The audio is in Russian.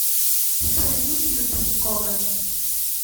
салют ютуб коган